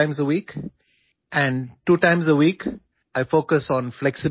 ഞാൻ ആഴ്ചയിൽ രണ്ട് തവണ യോഗ ചെയ്യുന്നു ആഴ്ചയിൽ രണ്ട് തവണ ഞാൻ കാർഡിയോ ചെയ്യുന്നു